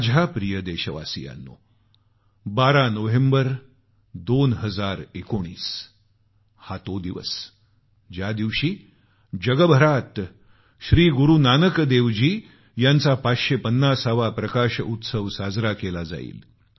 माझ्या प्रिय देशवासियांनो 12 नोव्हेंबर 2019 हा तो दिवस आहे ज्या दिवशी जगभरात श्री गुरूनानक देव यांचा 550 वा प्रकाश उत्सव साजरा केला जाईल